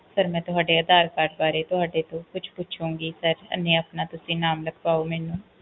ਮੈਂ ਤੁਹਾਡੇ ਅਧਾਰ card ਵਾਰੇ ਤੁਹਾਡੇ ਤੋਂ ਕੁਛ ਪੁਛੁਣਗੀ sir ਤੁਸੀਂ ਆਪਣਾ ਨਾਮ ਲਿਖਵਾਓ ਮੈਨੂੰ